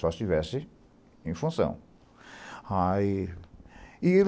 Só estivesse em função. Aí